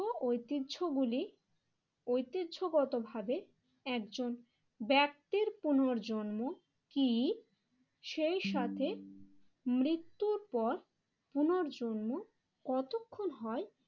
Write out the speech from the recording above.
তো ঐতিহ্য গুলি ঐতিহ্যগতভাবে একজন ব্যক্তির পুনর্জন্ম কি সেই সাথে মৃত্যুর পর পুনর্জন্ম কতক্ষণ হয়